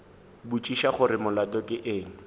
botšiša gore molato ke eng